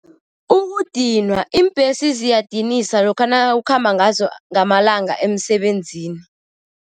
Ukudinwa. Iimbhesi ziyadinisa lokha nawukhamba ngazo ngamalanga emsebenzini.